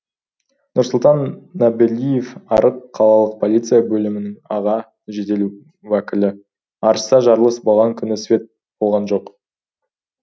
нұрсұлтан набиәлиев арыс қалалық полиция бөлімінің аға жедел уәкілі арыста жарлыс болған күні свет болған жоқ